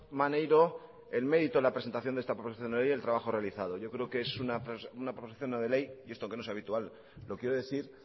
maneiro el mérito en la presentación de esta proposición no de ley y el trabajo realizado yo creo que es una proposición no de ley y esto que no es habitual lo quiero decir